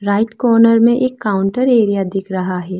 Right corner में एक counter area दिख रहा है।